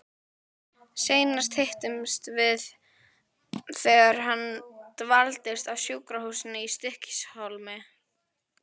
Seinast hittumst við þegar hann dvaldist á sjúkrahúsinu í Stykkishólmi.